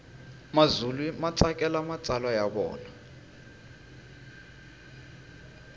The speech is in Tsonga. mazulu matsakela matsalwa yavona